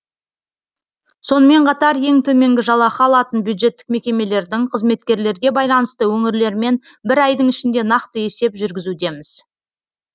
сонымен қатар ең төменгі жалақы алатын бюджеттік мекемелердің қызметкерлерге байланысты өңірлермен бір айдың ішінде нақты есеп жүргізудеміз